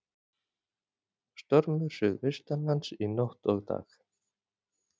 Stormur suðaustanlands í nótt og dag